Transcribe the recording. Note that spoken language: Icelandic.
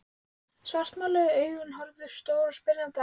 Svartmáluð augun horfðu stór og spyrjandi á mig.